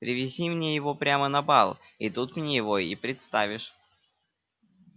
привези мне его прямо на бал и тут мне его и представишь